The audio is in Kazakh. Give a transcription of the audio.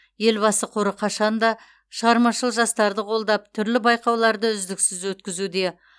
елбасы қоры қашанда шығармашыл жастарды қолдап түрлі байқауларды үздіксіз өткізуде